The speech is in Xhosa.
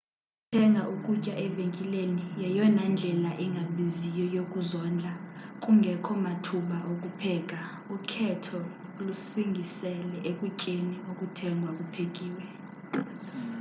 ukuthenga ukutya evenkileni yeyona ndlela ingabiziyo yokuzondla kungekho mathuba okupheka ukhetho lusingisele ekutyeni okuthengwa kuphekiw